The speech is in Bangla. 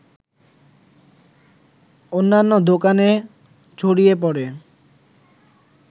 অন্যান্য দোকানে ছড়িয়ে পড়ে